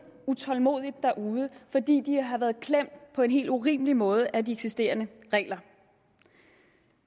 utålmodigt derude fordi de har været klemt på en helt urimelig måde af de eksisterende regler